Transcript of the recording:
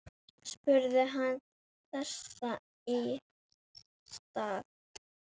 spurði hann þess í stað.